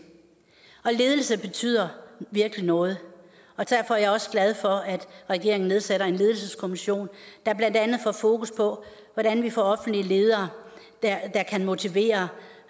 ledelse betyder virkelig noget derfor er jeg også glad for at regeringen nedsætter en ledelseskommission der blandt andet får fokus på hvordan vi får offentlige ledere der kan motivere